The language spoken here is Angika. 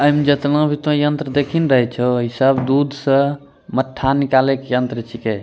ऐम जेतना भी तोय यन्त्र देखि न रहे छो इ सब दूध स मत्था निकाले के यन्त्र छिके।